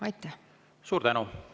Suur tänu!